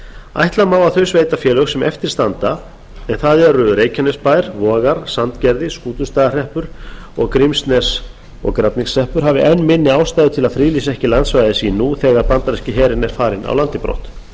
ætla má að þau sveitarfélög sem eftir standa en það eru reykjanesbær vogar sandgerði skútustaðahreppur og grímsnes og grafningshreppur hafi enn minni ástæður til að friðlýsa landsvæði sín búa þegar bandaríski herinn er farinn af landi brott þá er